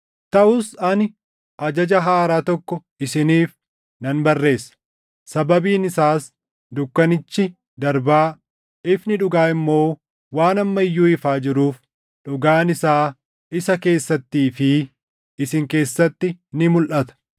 Taʼus ani ajaja haaraa tokko isiniif nan barreessa; sababiin isaas dukkanichi darbaa, ifni dhugaa immoo waan amma iyyuu ifaa jiruuf dhugaan isaa isa keessattii fi isin keessatti ni mulʼata.